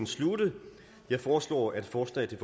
sluttet jeg foreslår at forslaget